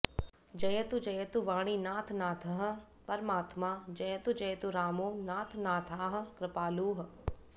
जयतु जयतु वाणीनाथनाथः परात्मा जयतु जयतु रामो नाथनाथः कृपालुः